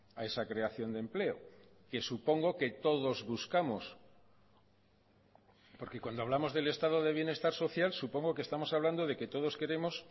a esa creación de empleo que supongo que todos buscamos porque cuando hablamos del estado de bienestar social supongo que estamos hablando de que todos queremos